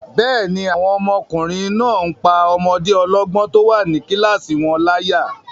Bẹ́ẹ̀ni, àwọn ọmọkùnrin náà n pá ọmọdé ọlọ́gbọ́n tó wà ní kílásì wọn láyà